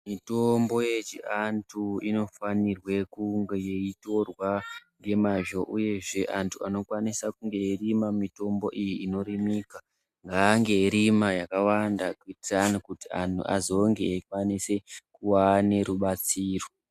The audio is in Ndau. Mitombo yechiantu inofanirwe kunge yeitorwa nemazvo uyezve antu anokwanisa kunge eirima mitombo iyi inorimika ngaange eirima yakawanda kuudza antu kuti azonge aikwanise kuane rubatsiro.